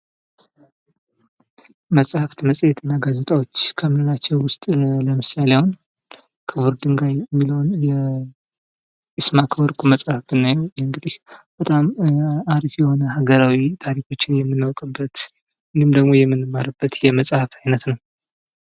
መጽሃፍት መጽሄት እና ጋዜጣዎች ከምንላቸው ውስጥ ለምሳሌ አሁን ክቡር ድንጋይ የሚለውን የይስማእከ ወርቁን መጽሐፍ ብናይ በጣም አሪፍ የሆነ ሃገራዊ ታሪኮችን የምናውቅበት እንዲሁም ደግሞ የምንማርበት የመጽሐፍ አይነት ነው።